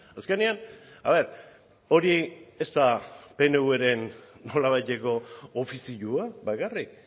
azkenean hori ez da pnvren nolabaiteko ofizioa bakarrik